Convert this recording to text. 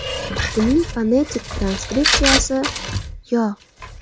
Uning fonetik transkripsiyasi – yo .